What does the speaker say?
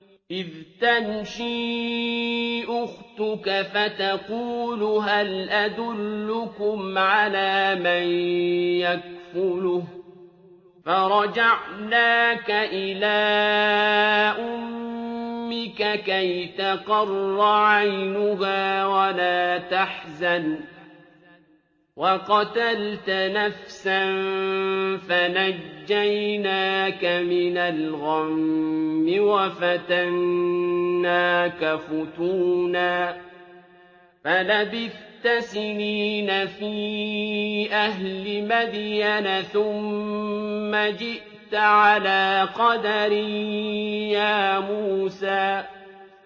إِذْ تَمْشِي أُخْتُكَ فَتَقُولُ هَلْ أَدُلُّكُمْ عَلَىٰ مَن يَكْفُلُهُ ۖ فَرَجَعْنَاكَ إِلَىٰ أُمِّكَ كَيْ تَقَرَّ عَيْنُهَا وَلَا تَحْزَنَ ۚ وَقَتَلْتَ نَفْسًا فَنَجَّيْنَاكَ مِنَ الْغَمِّ وَفَتَنَّاكَ فُتُونًا ۚ فَلَبِثْتَ سِنِينَ فِي أَهْلِ مَدْيَنَ ثُمَّ جِئْتَ عَلَىٰ قَدَرٍ يَا مُوسَىٰ